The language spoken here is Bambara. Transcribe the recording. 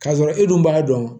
K'a sɔrɔ e dun b'a dɔn